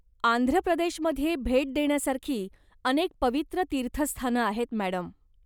आंध्रप्रदेशमध्ये भेट देण्यासारखी अनेक पवित्र तीर्थस्थानं आहेत, मॅडम.